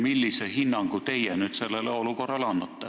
Millise hinnangu teie sellele olukorrale annate?